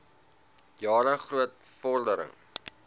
jare groot vordering